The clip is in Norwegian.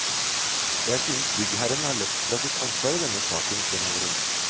Jeg synes byggherren har løpt fra sitt ansvar i denne saken, fremholder hun.